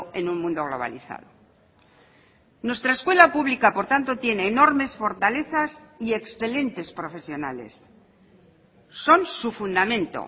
en un mundo globalizado nuestra escuela pública por tanto tiene enormes fortalezas y excelentes profesionales son su fundamento